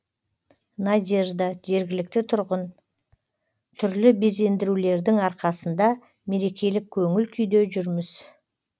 надежда жергілікті тұрғын түрлі безендірулердің арқасында мерекелік көңіл күйде жүрміз